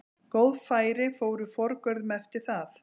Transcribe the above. Góð færi fóru forgörðum eftir það.